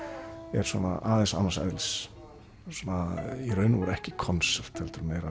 er svona aðeins annars eðlis svona í raun og veru ekki konsert heldur meira